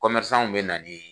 bɛ na n'i ye